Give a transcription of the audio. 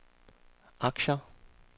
aktier